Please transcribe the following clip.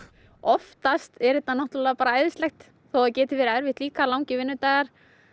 oftast er þetta bara æðislegt þó það geti verið erfitt líka langir vinnudagar